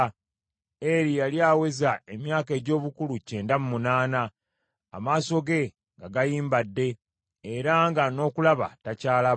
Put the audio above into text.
Eri yali aweza emyaka egy’obukulu kyenda mu munaana, amaaso ge nga gayimbadde, era nga n’okulaba takyalaba.